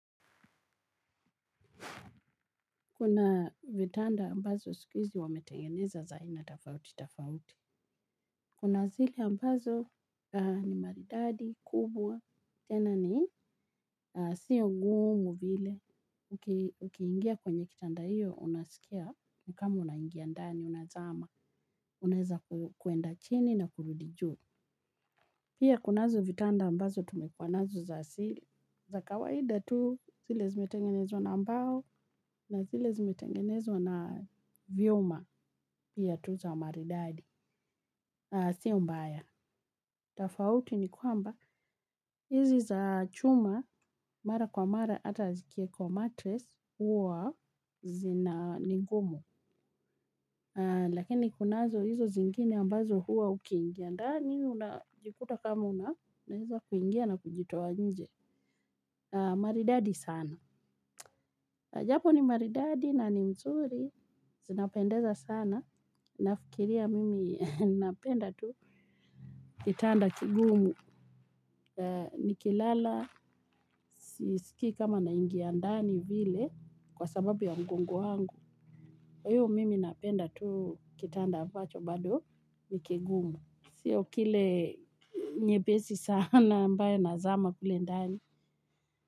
Kuna vitanda ambazo siku hizi wametengeneza za aina tofauti, tofauti. Kuna zile ambazo ni maridadi, kubwa, tena ni sio ngumu vile. Ukiingia kwenye kitanda hiyo, unasikia ni kama unaingia ndani, unazama. Unaeza kuenda chini na kurudi juu. Pia kunazo vitanda ambazo tumekuwa nazo za zile. Za kawaida tu zile zimetengenezwa na mbao na zile zimetengenezwa na vyuma. Pia tu za maridadi ah sio mbaya. Tofauti ni kwamba hizi za chuma. Mara kwa mara ata zikiekwa matres huwa zina ni gumu. Lakini kunazo hizo zingine ambazo huwa ukingia ndani unajikuta kama unaweza h kuingia na kujitoa nje. Maridadi sana japo ni maridadi na ni nzuri. Zinapendeza sana. Nafikiria mimi napenda tu kitanda kigumu. Nikilala sisikii kama naingia ndani vile kwa sababu ya mgongo wangu kwa hiyo mimi napenda tu kitanda ambacho bado ni kigumu sio kile nypesi sana ambaye nazama kule ndani.